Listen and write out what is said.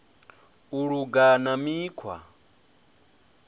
u luga na mikhwa i